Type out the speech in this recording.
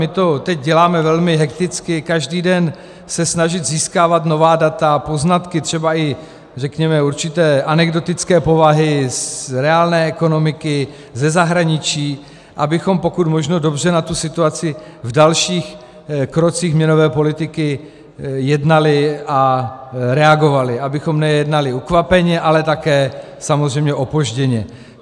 My to teď děláme velmi hekticky - každý den se snažíme získávat nová data, poznatky třeba i řekněme určité anekdotické povahy z reálné ekonomiky, ze zahraničí, abychom pokud možno dobře na tu situaci v dalších krocích měnové politiky jednali a reagovali, abychom nejednali ukvapeně, ale také samozřejmě opožděně.